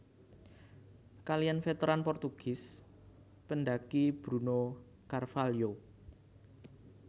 Kaliyan Veteran Portugis Pendakiy Bruno carvalho